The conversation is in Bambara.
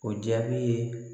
O jaabi ye